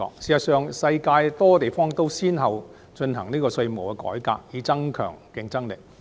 事實上，世界多個地方都先後進行稅務改革，以增強競爭力。